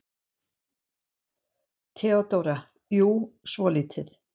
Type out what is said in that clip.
THEODÓRA: Jú, svolítið.